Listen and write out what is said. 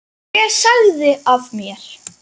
Ég sagði af mér.